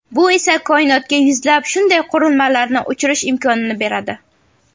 Bu esa koinotga yuzlab shunday qurilmalarni uchirish imkonini beradi.